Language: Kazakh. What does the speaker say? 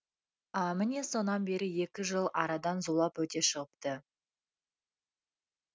міне сонан бері екі жыл арадан зулап өте шығыпты